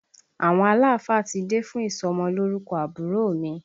Àwọn aláàfáà ti dé fún ìsọmọ lórúkọ àbúrò mi